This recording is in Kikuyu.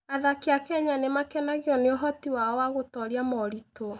Athaki a Kenya nĩ makenagio nĩ ũhoti wao wa gũtooria moritũ.